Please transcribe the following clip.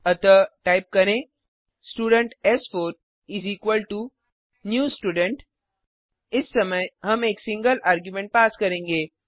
अतः टाइप करें स्टूडेंट एस4 इस इक्वाल्टो न्यू स्टूडेंट इस समय हम एक सिंगल आर्ग्युमेंट पास करेंगे